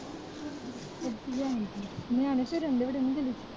ਨਿਆਣੇ ਤਾਂ ਰਹਿੰਦੇ ਹੋਣੇ ਤੇਰੇ